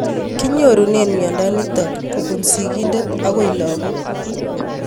Kinyorunee miondo nitok kopun sig'indet akoi lag'ok